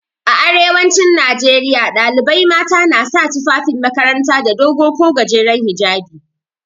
A arewacin Najeriya ɗalibai mata na sa tufafin makaranta da dogo ko gajeren hijjabi.